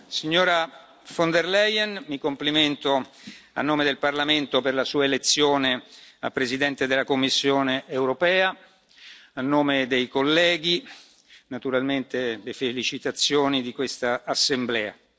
Signora von der Leyen, mi complimento, a nome del Parlamento, per la Sua elezione a Presidente della Commissione europea, a nome dei colleghi, naturalmente le felicitazioni di questa Assemblea.